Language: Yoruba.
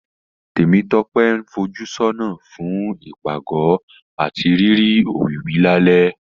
Tèmítọ́pẹ́ ń fojúsọ́nà fún ìpàgọ́ àti rírí òwìwí lálẹ́